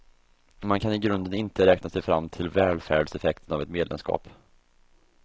Man kan i grunden inte räkna sig fram till välfärdseffekten av ett medlemskap.